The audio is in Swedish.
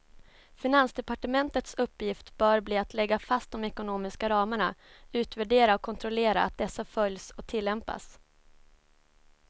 Finansdepartementets uppgift bör bli att lägga fast de ekonomiska ramarna, utvärdera och kontrollera att dessa följs och tillämpas.